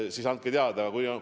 Palun andke mulle need teada!